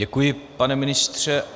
Děkuji, pane ministře.